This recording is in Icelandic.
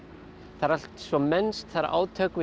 það er allt svo mennskt það eru átök við